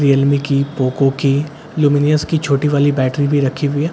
Realme की Poco की Luminous की छोटी वाली बैटरी भी रखी हुई हैं।